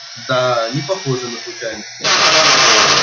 да непохоже на случайность